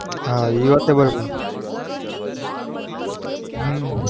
હા એ વાત એ બરાબર હમ